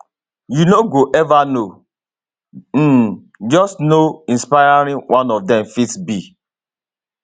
you no go ever know um just how inspiring one of dem fit be